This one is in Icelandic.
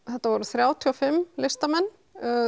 þetta voru þrjátíu og fimm listamenn